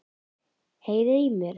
Heyriði í mér?